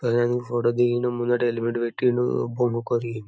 photo దిగిండ్రు ముందర helmet పెట్టిండ్రు